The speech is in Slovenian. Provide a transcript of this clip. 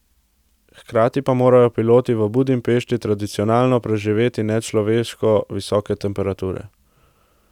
Hkrati pa morajo piloti v Budimpešti tradicionalno preživeti nečloveško visoke temperature.